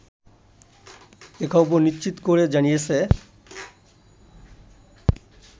এ খবর নিশ্চিত করে জানিয়েছে